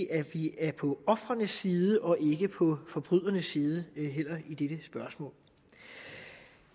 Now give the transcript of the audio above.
at vi er på ofrenes side og ikke på forbrydernes side ej heller i dette spørgsmål